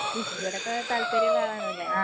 കൃഷിയോടൊക്കെ താല്പര്യല്ല ആളാണ്ലെ.